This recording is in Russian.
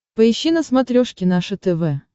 поищи на смотрешке наше тв